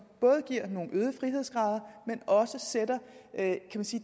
både giver nogle øgede frihedsgrader men også sætter